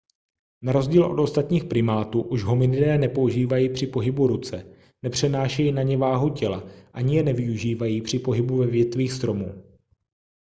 na rozdíl od ostatních primátů už hominidé nepoužívají při pohybu ruce nepřenášejí na ně váhu těla ani je nevyužívají při pohybu ve větvích stromů